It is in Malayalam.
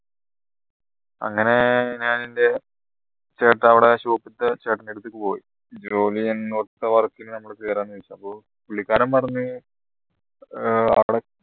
അങ്ങനെ ഞാൻ എൻറെ ചേട്ട അവിടെ shop ലെ ചേട്ടന്റെ അടുത്ത് പോയി അന്നേരോ ഓല് എങ്ങോട്ടോ work നു കേറാ വിചാരിച്ചേയ പുള്ളിക്കാരൻ പറഞ്ഞു ആഹ് അവിടെ